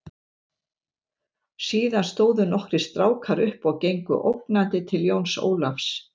Síðan stóðu nokkrir strákar upp og gengu ógnandi til Jóns Ólafs.